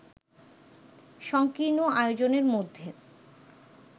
সঙ্কীর্ণ আয়োজনের মধ্যে